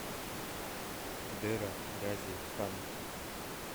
дера гази хан